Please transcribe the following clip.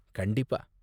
கண்டிப்பா.